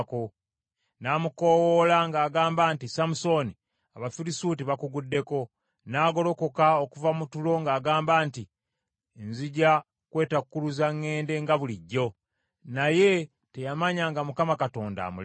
N’amukoowoola ng’agamba nti, “Samusooni, Abafirisuuti bakuguddeko.” N’agolokoka okuva mu tulo ng’agamba nti, “Nzija kwetakkuluza ŋŋende nga bulijjo.” Naye teyamanya nga Mukama Katonda amulese.